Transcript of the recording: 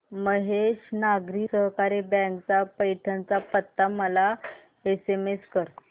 Mahesh Nagari Sahakari bank चा पैठण चा पत्ता मला एसएमएस कर